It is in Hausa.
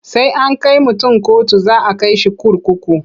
Sai an kai mutun kotu za a kai shi kurkuku.